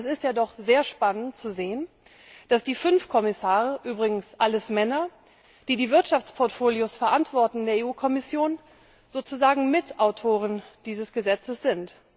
Aber es ist ja doch sehr spannend, zu sehen, dass die fünf Kommissare übrigens alles Männer die die Wirtschaftsportfolios in der Kommission mitverantworten, sozusagen Mitautoren dieses Gesetzes sind.